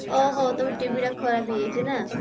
ଓଃହୋ ତମ TV ଟା ଖରାପ ହେଇ ଯାଇଛି ନା